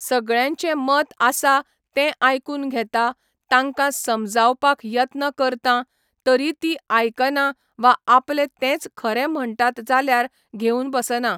सगळ्यांचें मत आसा तें आयकून घेता, तांकां समजावपाक यत्न करतां, तरी तीं आयकना वा आपले तेंच खरे म्हणटात जाल्यार घेवन बसना.